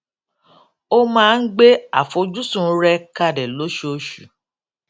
ó máa ń gbé àfojúsùn rẹ kalẹ lóṣooṣù